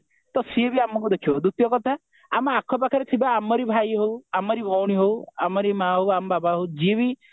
ତ ସେ ବି ଆମକୁ ଦେଖିବ ଦ୍ଵିତୀୟ କଥା ଆମ ଆଖପାଖରେ ଥିବା ଆମରି ଭାଇ ହଉ ଆମରି ଭଉଣୀ ହଉ ଆମରି ମା ହଉ ଆମ ବାପା ହଉ ଯିଏ ବି